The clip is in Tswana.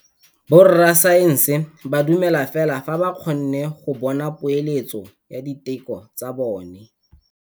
Borra saense ba dumela fela fa ba kgonne go bona poeletsô ya diteko tsa bone.